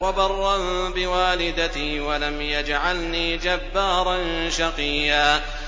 وَبَرًّا بِوَالِدَتِي وَلَمْ يَجْعَلْنِي جَبَّارًا شَقِيًّا